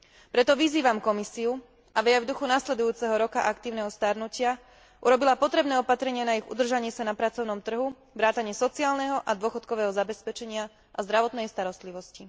Preto vyzývam Komisiu, aby aj v duchu nasledujúceho roka aktívneho starnutia urobila potrebné opatrenia na ich udržanie sa na pracovnom trhu vrátane sociálneho a dôchodkového zabezpečenia a zdravotnej starostlivosti.